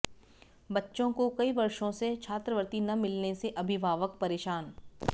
बच्चों को कई वर्षों से छात्रवृत्ति न मिलने से अभिभावक परेशान